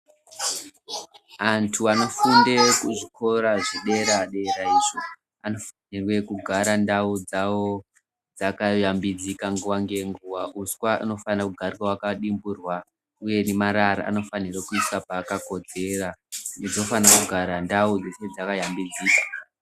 Antu anofunde kuzvikora zvedera-dera izvo anofanirwe kugara ndau dzavo dzakashambidzika nguva nenguva. Uswa anofana kugara hwakadimburwa uye nemarara anofanire kuisa paakakodzera. Idzi dzinofana kugara ndau dzeshe dzakashambidzika.